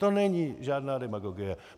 To není žádná demagogie.